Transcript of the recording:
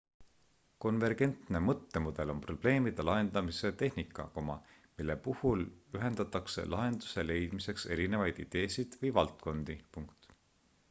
konvergentne mõttemudel on probleemide lahendamise tehnika mille puhul ühendatakse lahenduse leidmiseks erinevaid ideesid või valdkondi